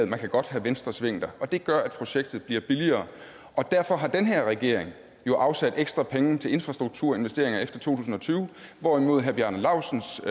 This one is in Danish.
man kan godt have venstresving der og det gør at projektet bliver billigere derfor har den her regering jo afsat ekstra penge til infrastrukturinvesteringer efter to tusind og tyve hvorimod herre bjarne laustsens